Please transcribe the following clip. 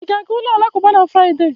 Ị ga-aga ụlọ alakụba na Fraịde?